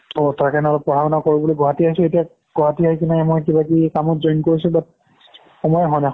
অ' তাৰকাৰণে অলপ পঢ়া-শুনা কৰোঁ বুলি গুৱাহাটী আহিছো এতিয়া গুৱাহাটী আহি পিনে মই কিবা কিবি কামত join কৰিছোঁ but সময়ে হোৱা নাই